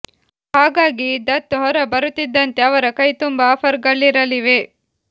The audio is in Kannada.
ಹಾಗಾಗಿ ದತ್ ಹೊರ ಬರುತ್ತಿದ್ದಂತೆ ಅವರ ಕೈ ತುಂಬಾ ಆಫರ್ ಗಳಿರಲಿವೆ